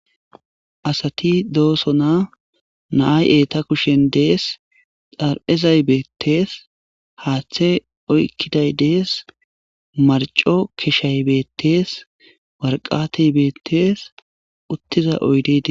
asati dooso na'a eta kushen dees dar7ezay beettees haaththe oykkiday dees marco keshay beettees warqatey beettees uttiza oydey dees